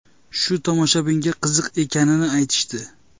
Shu tomoshabinga qiziq ekanini aytishdi.